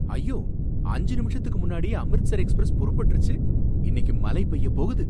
ஐயோ, அஞ்சு நிமிஷத்துக்கு முன்னாடியே அம்ரித்சர் எக்ஸ்பிரஸ் புறப்பட்டுருச்சு! இன்னிக்கு மலை பேயப் போகுது.